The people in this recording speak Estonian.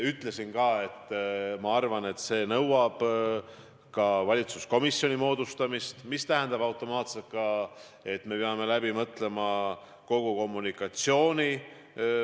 Ütlesin ka, et see nõuab valitsuskomisjoni moodustamist, mis tähendab automaatselt ka seda, et me peame läbi mõtlema kogu kommunikatsiooni.